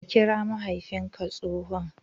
Ka kira mahaifinka tsohon!